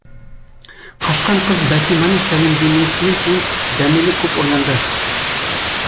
қашқан қыз бәтиманың сәлемдемесінен кейін дәмелі көп ойланды